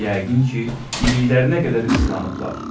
Yəqin ki, iliklərinə qədər islanıblar.